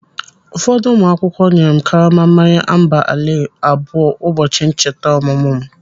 Ụfọdụ ụmụ akwụkwọ nyere m karama mmanya amber ale abụọ ụbọchị ncheta ọmụmụ m.